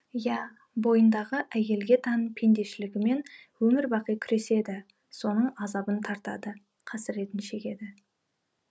иә бойындағы әйелге тән пендешілігімен өмір бақи күреседі соның азабын тартады қасіретін шегеді